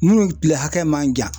Minnu tile hakɛ man jan